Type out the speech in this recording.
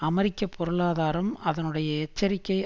அமெரிக்க பொருளாதாரம் அதனுடைய எச்சரிக்கை